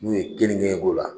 N'u ye kelnike k'o la.